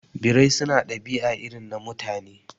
Birai su na ɗabi'a irin na Mutane